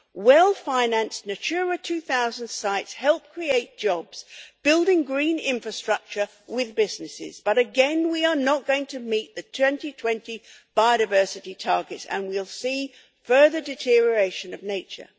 Well financed Natura 2000 sites help create jobs, building green infrastructure with businesses, but again we are not going to meet the 2020 biodiversity targets and we'll see further deterioration of nature.